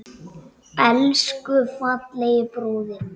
Elsku fallegi bróðir minn.